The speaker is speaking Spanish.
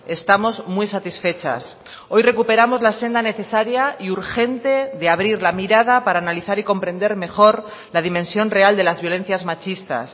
estamos muy satisfechas hoy recuperamos la senda necesaria y urgente de abrir la mirada para analizar y comprender mejor la dimensión real de las violencias machistas